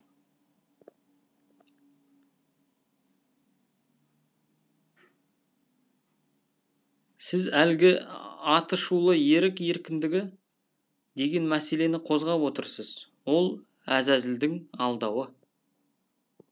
сіз әлгі аты шулы ерік еркіндігі деген мәселені қозғап отырсыз ол әзәзілдің алдауы